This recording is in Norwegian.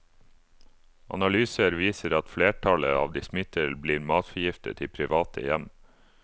Analyser viser at flertallet av de smittede, blir matforgiftet i private hjem.